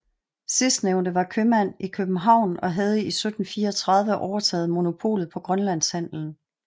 Sidstnævnte var købmand i København og havde i 1734 overtaget monopolet på grønlandshandelen